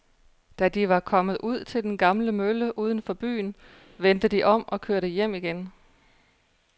Da de var kommet ud til den gamle mølle uden for byen, vendte de om og kørte hjem igen.